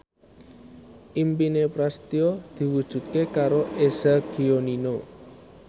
impine Prasetyo diwujudke karo Eza Gionino